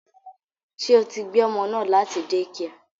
Ṣé o tí gbé ọmọ náà láti dẹ́kià?